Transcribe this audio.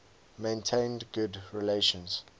maintained good relations